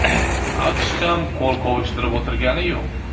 AQSh ham qo‘l qovushtirib o‘tirgani yo‘q.